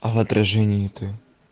а в отражение это